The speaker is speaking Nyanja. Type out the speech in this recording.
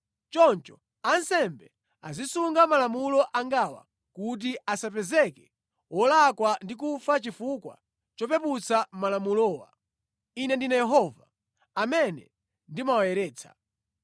“ ‘Choncho ansembe azisunga malamulo angawa kuti asapezeke wolakwa ndi kufa chifukwa chopeputsa malamulowa. Ine ndine Yehova, amene ndimawayeretsa.